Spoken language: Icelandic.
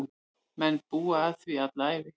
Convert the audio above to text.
Menn búa að því alla ævi.